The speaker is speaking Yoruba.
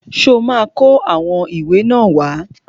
Ṣó ma kó àwọn ìwé náà wá?